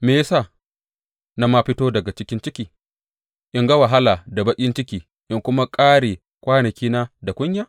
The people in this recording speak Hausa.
Me ya sa na ma fito daga cikin ciki in ga wahala da baƙin ciki in kuma ƙare kwanakina da kunya?